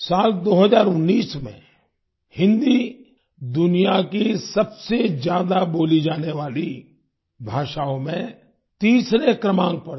साल 2019 में हिन्दी दुनिया की सबसे ज्यादा बोली जाने वाली भाषाओं में तीसरे क्रमांक पर थी